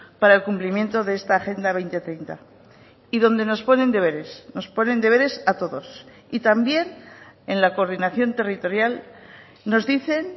para el cumplimiento de esta agenda dos mil treinta y donde nos ponen deberes nos ponen deberes a todos y también en la coordinación territorial nos dicen